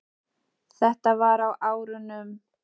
Þetta var á árunum